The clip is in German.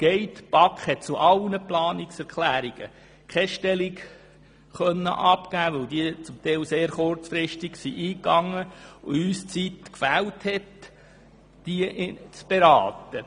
Die BaK konnte zu keiner einzigen Planungserklärung Stellung nehmen, weil diese teilweise sehr kurzfristig eingegangen sind und uns die Zeit gefehlt hat, sie zu beraten.